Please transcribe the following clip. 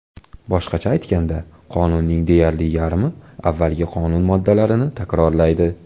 Boshqacha aytganda, qonunning deyarli yarmi avvalgi qonun moddalarini takrorlaydi.